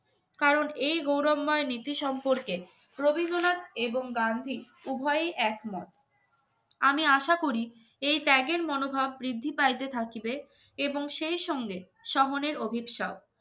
কারণ এই গৌরবময় নীতি সম্পর্কে রবীন্দ্রনাথ এবং গান্ধী উভয়ই একমত আমি আশা করি এই ত্যাগের মনোভাব বৃদ্ধি পাইতে থাকিবে এবং সেই সঙ্গে শহরের অভিশাপ